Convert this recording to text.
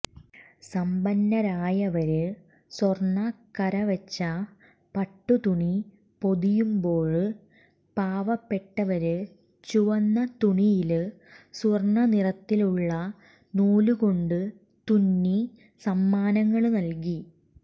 സമ്പന്നരായവര് സ്വര്ണക്കരവച്ച പട്ടുതുണി പൊതിയുമ്പോള് പാവപ്പെട്ടവര് ചുവന്ന തുണിയില് സ്വര്ണനിറത്തിലുള്ള നൂലുകൊണ്ടു തുന്നി സമ്മാനങ്ങള് നല്കി